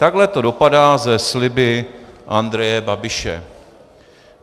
Takhle to dopadá se sliby Andreje Babiše.